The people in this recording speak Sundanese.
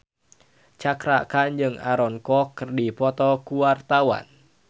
Cakra Khan jeung Aaron Kwok keur dipoto ku wartawan